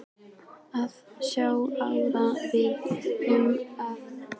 Það á sjálfsagt ágætlega við suma sagði pilturinn.